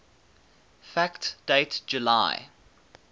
fact date july